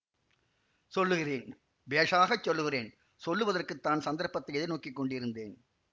சொல்லுகிறேன் பேஷாகச் சொல்லுகிறேன் சொல்லுவதற்குத் தான் சந்தர்ப்பத்தை எதிர்நோக்கிக் கொண்டிருந்தேன்